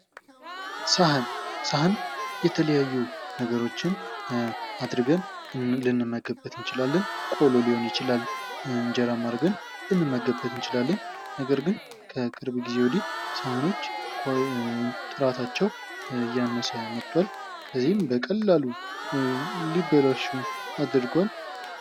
ሰሀን ሰሀን የተለያዬ ነገሮችን አድርገን ልንመገብበት እንችላለን ቆሎ ሊሆን ይችላል እንጀራም አርገን ልንመገብ እንችላለን ነገርግን ከቅርብ ጊዜ ወዲህ ሰሀኖች ጥራታቸው እያነሰ መጥተቶዋል ለዚህም በቀላሎ ሊበላሹ አድርጎዋል::